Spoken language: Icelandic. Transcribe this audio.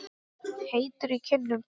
Heitur í kinnum.